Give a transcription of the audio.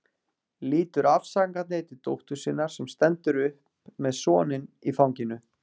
Lítur afsakandi til dóttur sinnar sem stendur upp með soninn í fanginu.